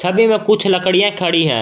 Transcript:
छवि में कुछ लकड़ियां खड़ी है।